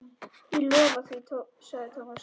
Ég lofa því sagði Thomas.